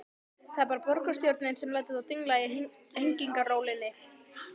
Það er bara borgarstjórnin sem lætur þá dingla í hengingarólinni.